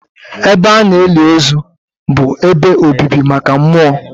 Ebe a na-eli ozu bụ ebe obibi maka mmụọ.